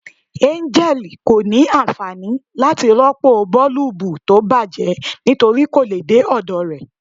Angel ko ni anfani lati ropo boolubu ti bajẹ nitori ko le de ọdọ rẹ